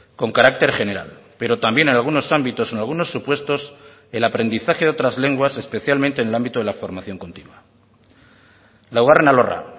con carácter general pero también en algunos ámbitos en algunos supuestos el aprendizaje de otras lenguas especialmente en el ámbito de la formación continua laugarren alorra